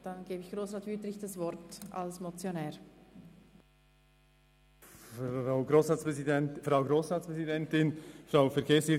Dann übergebe ich das Wort dem Motionär, Grossrat Wüthrich.